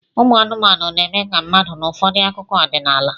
Ụmụ anụmanụ na-eme ka mmadụ n'ụfọdụ akụkọ ọdịnala